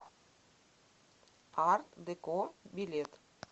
арт деко билет